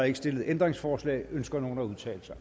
ikke stillet ændringsforslag ønsker nogen at udtale sig